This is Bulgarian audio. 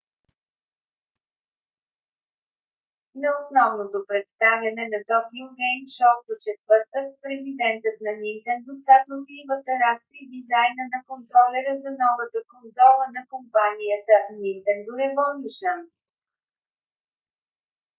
на основното представяне на токио гейм шоу в четвъртък президентът на нинтендо сатору ивата разкри дизайна на контролера за новата конзола на компанията нинтендо революшън